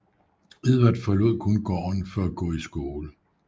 Edward forlod kun gården for at gå i skole